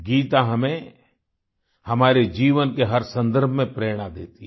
गीता हमें हमारे जीवन के हर सन्दर्भ में प्रेरणा देती है